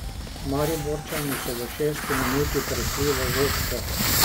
Mariborčani so v šesti minuti prešli v vodstvo.